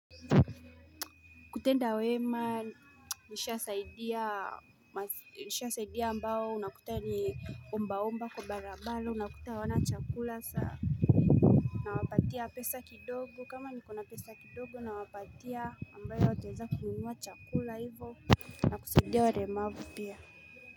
Kutenda wema nisha saidia ambao unakuta ni omba omba kwa barabara unakuta wana chakula saa na wapatia pesa kidogo kama niko na pesa kidogo na wapatia ambayo ataeza kununua chakula hivo na kusaidia walemavu pia.